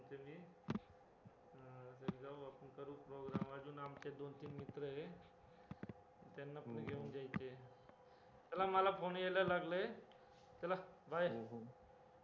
चला मला call यायला लागले चला bye